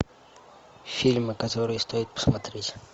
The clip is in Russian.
фильмы которые стоит посмотреть